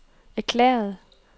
erklæret